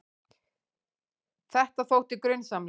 Þetta þótti grunsamlegt.